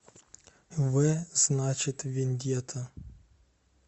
в значит вендетта